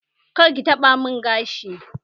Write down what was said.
Kar ki taɓa mun gashi!